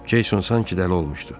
Ceyson sanki dəli olmuşdu.